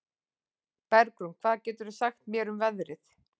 Bergrún, hvað geturðu sagt mér um veðrið?